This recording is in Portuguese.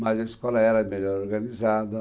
Mas a escola era melhor organizada.